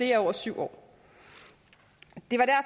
i over syv år